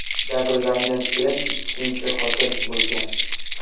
Jabrlangan kelin ikkinchi xotin bo‘lgan.